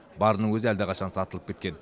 барының өзі әлдеқашан сатылып кеткен